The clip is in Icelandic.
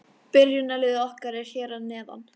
Byrjunarliðið okkar er hér að neðan.